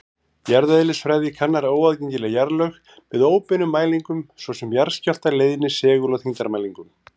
Jarðeðlisfræði kannar óaðgengileg jarðlög með óbeinum mælingum, svo sem jarðskjálfta-, leiðni-, segul- og þyngdarmælingum.